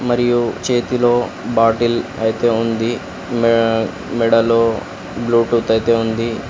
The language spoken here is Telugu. మరియు చేతిలో బాటిల్ ఐతే ఉంది మే మెడలో బ్లూటూత్ ఐతే ఉంది.